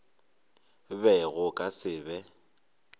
be go ka se be